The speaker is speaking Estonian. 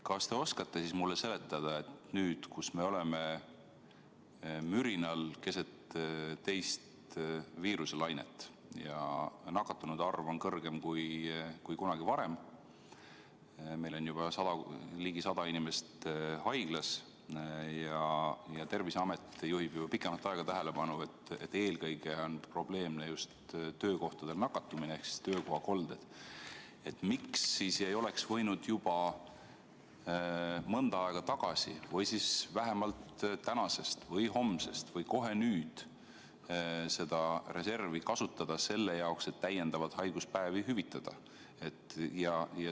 Kas te oskate siis mulle seletada, et kui me oleme mürinal keset teist viiruselainet ja nakatunute arv on kõrgem kui kunagi varem – meil on ligi 100 inimest haiglas ja Terviseamet juhib juba pikemat aega tähelepanu, et eelkõige on probleemne just töökohtadel nakatumine ehk töökohakolded –, siis miks ei oleks võinud juba mõnda aega tagasi või vähemalt tänasest või homsest või kohe nüüd seda reservi kasutada selle jaoks, et täiendavalt haiguspäevi hüvitada?